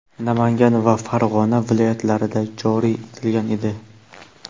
Namangan va Farg‘ona viloyatlarida joriy etilgan edi).